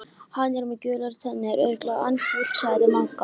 Hann er með gular tennur, örugglega andfúll sagði Magga.